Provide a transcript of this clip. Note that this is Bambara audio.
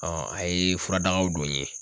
a ye furadagaw don n ye